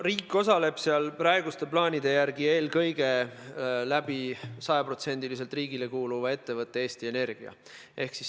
Riik osaleb seal praeguste plaanide järgi eelkõige sajaprotsendiliselt riigile kuuluva ettevõtte Eesti Energia kaudu.